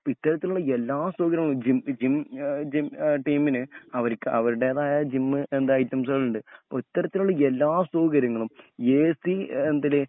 ഇപ്പൊ ഇത്തരത്തിലുള്ള എല്ലാ സൗകര്യങ്ങളും ജിം എ ജിം എ ടീമിന് അവര്ക്ക് അവരുടേതായ ജിമ്മ് എന്താ ഐറ്റംസുകളുണ്ട് അത്തരത്തിലുള്ള എല്ലാ സൗകര്യങ്ങളും എസി എന്തിന്